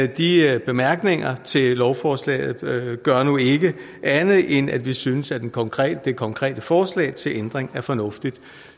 de bemærkninger til lovforslaget gør nu ikke andet end at vi synes at det konkrete det konkrete forslag til ændring er fornuftigt